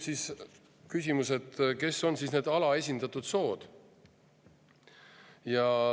" Küsimus on, kes on see alaesindatud sugu.